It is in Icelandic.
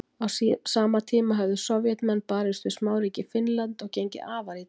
Á sama tíma höfðu Sovétmenn barist við smáríkið Finnland og gengið afar illa.